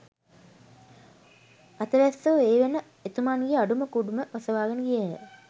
අතවැස්සෝ ඒ වෙත එතුමන්ගේ අඩුම කුඩුම ඔසවාගෙන ගියහ